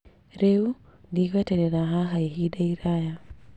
Rĩu ndĩgweterera haha ihinda iraya